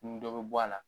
Ni dɔ bɛ bɔ a la